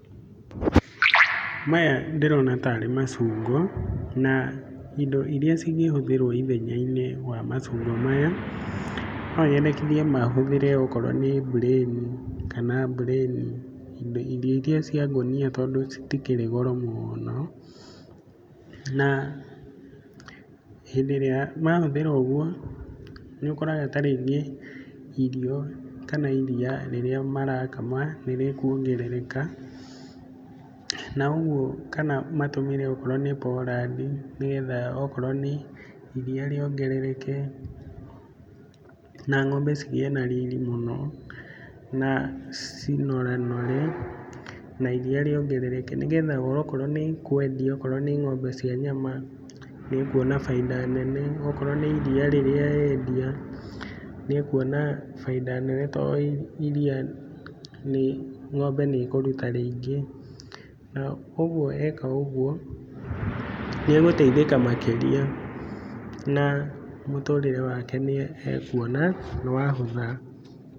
Maya ndĩrona tarĩ macungo, na indo iria cingĩhũthĩrwo ithenya-inĩ rĩa macungo maya, no nyandĩkithie mahuthĩre okorwo nĩ mbureni kana mbureni, irio ingĩ cia ngũnia tondũ citikĩrĩ goro mũno, na hĩndĩ ĩrĩa mahũthĩrwo ũguo, nĩ ũkoraga ta rĩngĩ irio kana iria rĩrĩa marakama nĩ rĩkuongerereka, na ũguo matũmĩre onokorwo nĩ porandi, nĩgetha okorwo nĩ iria rĩongerereke na ng'ombe cigĩe na riri mũno, na cinoranore na iria rĩongerereke, nĩgetha o nokorwo nĩ ikwendio okorwo nĩ ng'ombe cia nyama, nĩ ũkuona bainda nene, okorwo nĩ iria rĩrĩa endia nĩ ekuona bainda nene, tondũ iria ng'ombe nĩ ĩkũruta rĩingĩ. Ũguo eka ũguo, nĩ ũgũteithĩka makĩria na mũtũrĩre wake nĩ ekuona nĩ wahũtha.